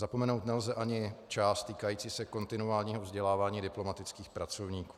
Zapomenout nelze ani část týkající se kontinuálního vzdělávání diplomatických pracovníků.